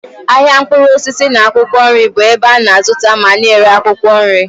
Ahịa mkpụrụ osisi na akwụkwọ nri bụ ebe a na-azụta ma na-ere akwụkwọ nri.